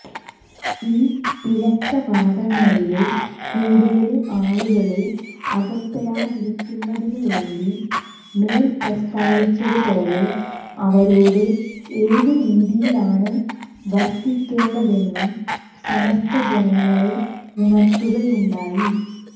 ഈ പിഴച്ച വാദങ്ങളില് കൂടുതല് ആളുകള് അകപ്പെടാതിരിക്കുന്നതിനുവേണ്ടി മേല് പ്രസ്താവിച്ചതുപോലെ അവരോട് ഏതു രീതിയിലാണു വര്ത്തിക്കേണ്ടതെന്നും സമസ്ത ജനങ്ങളെ ഉണര്ത്തുകയുണ്ടായി